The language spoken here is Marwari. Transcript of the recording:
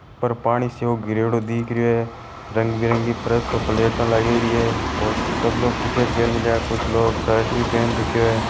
ऊपर पानी सो गिरेरो दिखरियो है रंग बे रंगी फर्श पे प्लेटा लागियोड़ी है और सब लोग टी-शर्ट पेर मेलिया है कुछ लोग शर्ट भी पहेन रखीया है।